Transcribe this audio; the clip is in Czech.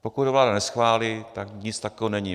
Pokud ho vláda neschválí, tak nic takového není.